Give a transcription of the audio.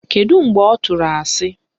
Kedu mgbe ọ tụrụ asị?